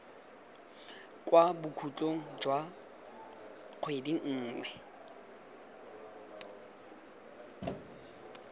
kwa bokhutlong jwa kgwedi nngwe